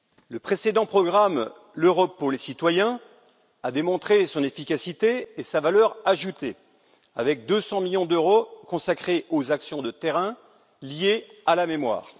Le précédent programme, L'Europe pour les citoyens, a démontré son efficacité et sa valeur ajoutée, avec 200 millions d'euros consacrés aux actions de terrain liées à la mémoire.